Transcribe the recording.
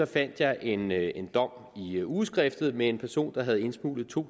fandt jeg en jeg en dom i ugeskriftet med en person der havde indsmuglet to